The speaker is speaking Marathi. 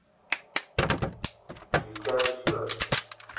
रीचार्ज कर